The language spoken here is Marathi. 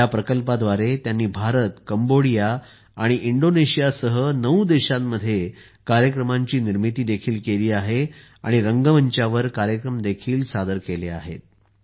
या प्रकल्पाद्वारे त्यांनी भारत कंबोडिया आणि इंडोनेशियासह नऊ देशांमध्ये कार्यक्रमांची निर्मिती देखील केली आहे आणि रंगमंचावर कार्यक्रम देखील सादर केले आहेत